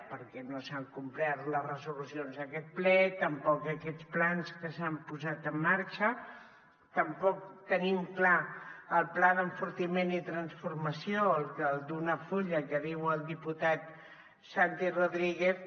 perquè no s’han complert les resolucions d’aquest ple tampoc aquests plans que s’han posat en marxa tampoc tenim clar el pla d’enfortiment i transformació el d’un full que diu el diputat santi rodríguez